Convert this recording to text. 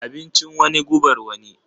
Abincin wani gubar wani.